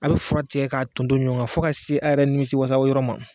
A' bɛ fura tigɛ k'a tonto ɲɔɔn ŋa fo k'a se a' yɛrɛ nimisiwasa yɔrɔ ma